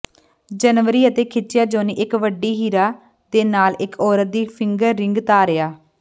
ਜਨਵਰੀ ਅਤੇ ਖਿੱਚਿਆ ਜੌਨੀ ਇੱਕ ਵੱਡੀ ਹੀਰਾ ਦੇ ਨਾਲ ਇੱਕ ਔਰਤ ਦੀ ਫਿੰਗਰ ਰਿੰਗ ਧਾਰਿਆ